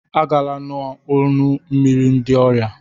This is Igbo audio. Agala n'ọnụ mmiri ndị ọrịa